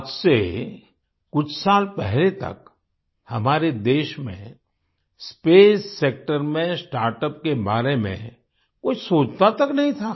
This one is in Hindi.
आज से कुछ साल पहले तक हमारे देश में स्पेस सेक्टर में स्टार्टअप्स के बारे में कोई सोचता तक नहीं था